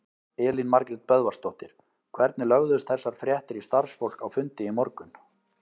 Elín Margrét Böðvarsdóttir: Hvernig lögðust þessar fréttir í starfsfólk á fundi í morgun?